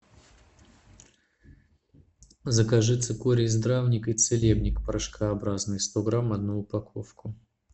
закажи цикорий здравник и целебник порошкообразный сто грамм одну упаковку